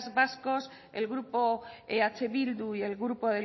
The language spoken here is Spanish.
vascos el grupo eh bildu y el grupo